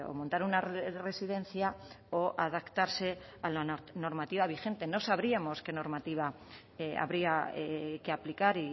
montar una residencia o adaptarse a la normativa vigente no sabríamos qué normativa habría que aplicar